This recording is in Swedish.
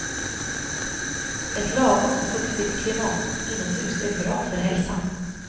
Ett lagom fuktigt klimat inomhus är bra för hälsan.